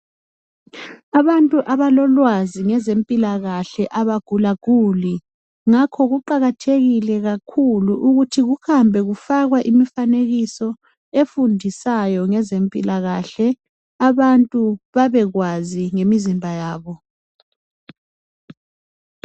Abantu abalolwazi ngezempilakahle abagula guli ngakho kuqakathekile kakhulu ukuthi kuhambe kufakwe imifanekiso efundisayo ngezempilakahle abantu babekwazi ngemizimba yabo.